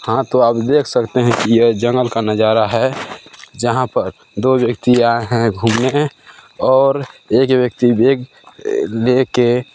हाँ तो आप देख सकते है की ये जंगल का नजारा है जहाँ पर दो व्यक्ति आए हैं घूमने और एक व्यक्ति एक अ ले के--